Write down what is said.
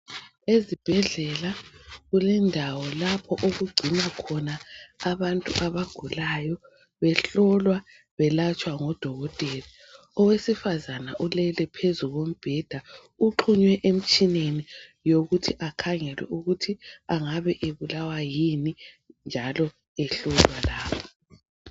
Ezibhedlela kulendawo lapho okugcinwa khona abantu abagulayo behlolwa, belatshwa ngodokotela. Owesifazane ulele phezu kombheda, uxhunywe emtshineni yokuthi akhangelwe ukuthi angabe ebulawa yini njalo ehlolwa lapho.